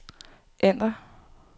ændr